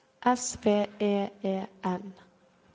S V E E N